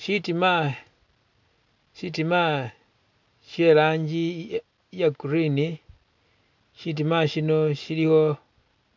Shitima shitima she'rangi iya green, shitima shino shiliwo